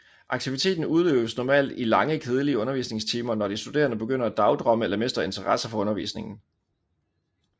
Aktiviteten udøves normalt i lange kedelige undervisningstimer når de studerende begynder at dagdrømme eller mister interesse for undervisningen